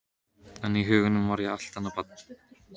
En í huganum var ég allt annað barn.